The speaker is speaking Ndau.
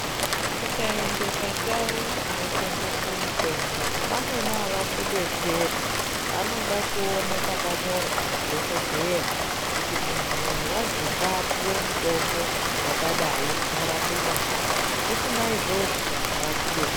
Ukaende pandau dzinotengeswe mitombo vamwneni avakudetseri vanoda kuone pakanyorwa ndidhogodheya kuti muntu uyu wazi ngaapuwe mutombo wakadai unorape chakati, usina izvozvo avakude...